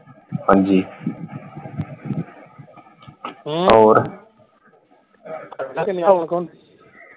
ਹਾਂਜੀ ਹੋਰ